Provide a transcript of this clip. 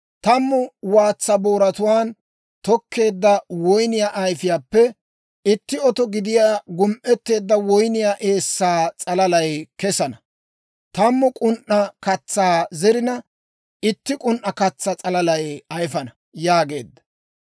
Tammu waatsaa booratuwaan tokkeedda woyniyaa ayifiyaappe itti oto gidiyaa gum"etteedda woyniyaa eessaa s'alalay kesana; tammu k'un"a katsaa zerina, itti k'un"a katsaa s'alalaa ayifana» yaageedda.